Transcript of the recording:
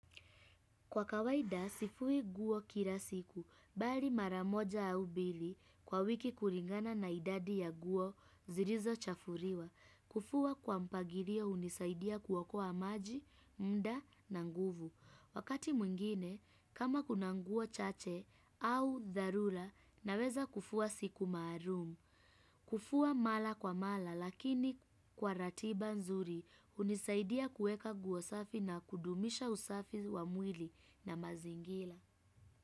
Kwa kawaida, sifui nguo kila siku, bali maramoja au mbili kwa wiki kulingana na idadi ya nguo zilizo chafuliwa. Kufua kwa mpangilio hunisaidia kuokoa maji, muda na nguvu. Wakati mwingine, kama kuna nguo chache au dharura, naweza kufua siku maalum. Kufua mara kwa mara lakini kwa ratiba nzuri hunisaidia kueka nguo safi na kudumisha usafi wa mwili na mazingira.